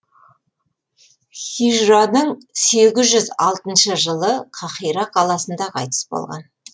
хижраның сегіз жүз алтыншы жылы қаһира қаласында қайтыс болған